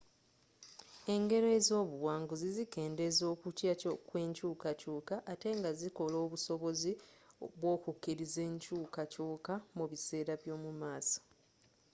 engero ez'obuwanguzi zikendeeza okutya kw'enkyukakyuka ate nga zikola obusobozi bw'okukkiriza enkyukakyuka mu biseera by'omu maaso